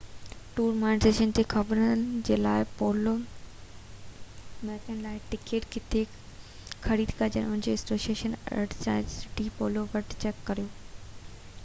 tournaments تي خبرن لاءِ ۽ پولو ميچن لاءِ ٽڪيٽ ڪٿي خريد ڪجن ان لاءِ اسوسيئنيڪن ارجنٽائن ڊي پولو وٽ چيڪ ڪريو